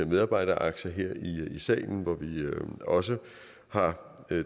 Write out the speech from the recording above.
medarbejderaktier her i salen hvor vi også har